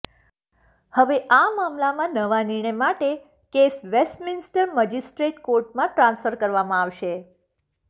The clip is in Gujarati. હવે આ મામલામાં નવા નિર્ણય માટે કેસ વેસ્ટમિન્સટર મજિસ્ટ્રેટ કોર્ટમાં ટ્રાન્સફર કરવામાં આવશે